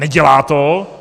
Nedělá to.